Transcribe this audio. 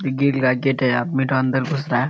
ये ग्रिल का गेट है आदमी अंदर घुस रहा है।